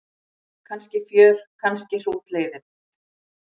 Kannski fjör kannski hrútleiðinlegt.